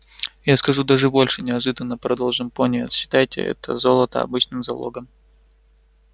я скажу даже больше неожиданно продолжил пониетс считайте это золото обычным залогом